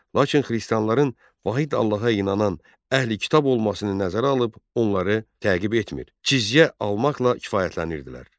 Lakin xristianların vahid Allaha inanan əhli kitab olmasını nəzərə alıb onları təqib etmir, cizyə almaqla kifayətlənirdilər.